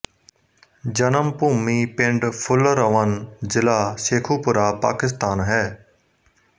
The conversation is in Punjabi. ਜਨਮ ਭੂਮੀ ਪਿੰਡ ਫੁੱਲਰਵਨ ਜ਼ਿਲ੍ਹਾ ਸ਼ੇਖ਼ੂਪੁਰਾ ਪਾਕਿਸਤਾਨ ਹੈ